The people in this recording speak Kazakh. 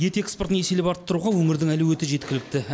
ет экспортын еселеп арттыруға өңірдің әлеуеті жеткілікті